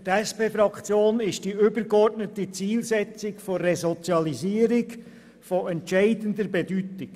Für die SPJUSO-PSA-Fraktion ist die übergeordnete Zielsetzung der Resozialisierung von entscheidender Bedeutung.